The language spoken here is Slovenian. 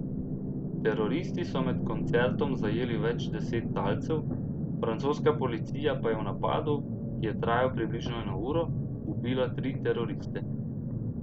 Teroristi so med koncertom zajeli več deset talcev, francoska policija pa je v napadu, ki je trajal približno eno uro, ubila tri teroriste.